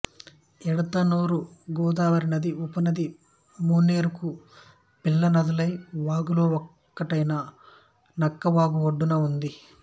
ఎడితనూరు గోదావరి నది ఉపనది మానేరుకు పిల్ల నదులైన వాగులో ఒకటైన నక్కవాగు ఒడ్డున ఉంది